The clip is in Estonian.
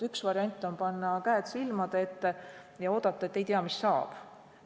Üks võimalusi on panna käed silmade ette ja oodata, et ei tea, mis saab.